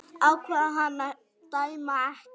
Ákvað hann að dæma ekki?